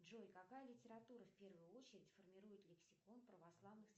джой какая литература в первую очередь формирует лексикон православных